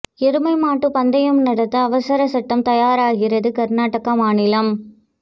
எருமை மாட்டு பந்தயம் நடத்த அவசரச் சட்டம் தயாராகிறது கர்நாடக மாநிலம்